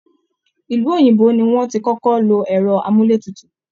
Ilú òyìnbó ni wọ́n ti kọ́kọ́ lo ẹrọ amúlé tutù